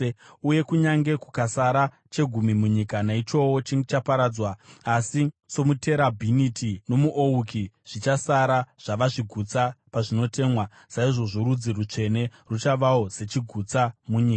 Uye kunyange kukasara chegumi munyika, naichowo chichaparadzwa. Asi somuterabhiniti nomuouki zvichasara zvava zvigutsa pazvinotemwa, saizvozvo rudzi rutsvene ruchavawo sechigutsa munyika.”